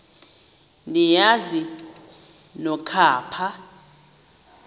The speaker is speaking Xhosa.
niyazi nonk apha